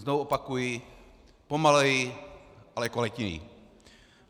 Znovu opakuji: pomaleji, ale kvalitněji.